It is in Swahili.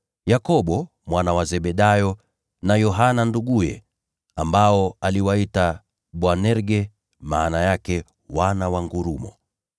Yakobo mwana wa Zebedayo, na Yohana nduguye (ambao aliwaita Boanerge, maana yake Wana wa Ngurumo);